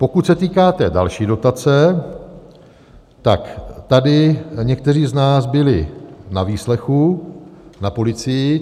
Pokud se týká té další dotace, tak tady někteří z nás byli na výslechu na policii.